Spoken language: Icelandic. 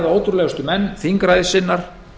ótrúlegustu menn verða þingræðissinnar